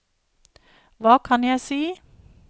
hva kan jeg si